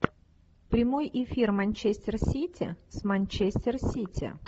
прямой эфир манчестер сити с манчестер сити